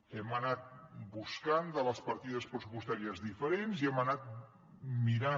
hem anat buscant de les partides pressupostàries diferents i hem anat mirant